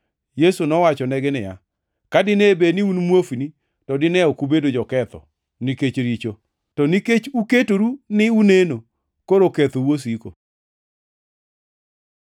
Yesu nowachonegi niya, “Ka dine bed ni un muofni, to dine ok ubedo joketho nikech richo; to nikech uketoru ni uneno, koro kethou osiko.”